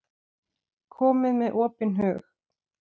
Komið með opinn hug.